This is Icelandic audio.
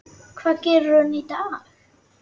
Hvað gerir hún í dag?